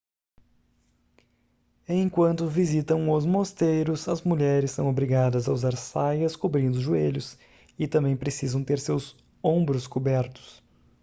enquanto visitam os mosteiros as mulheres são obrigadas a usar saias cobrindo os joelhos e também precisam ter seus ombros cobertos